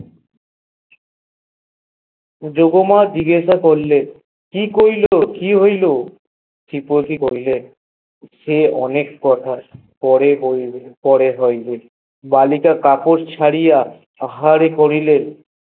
যোগ মা জিজ্ঞাসা করলেন কি কইলো কি হইল এরপর কি করলেন সে অনেক কথা পরে বলব পরে হইবে বা লিতে কাপড় ছাড়িয়া আহার করিলেন